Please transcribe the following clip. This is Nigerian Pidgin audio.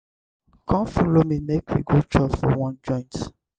come follow me make we go chop for one joint.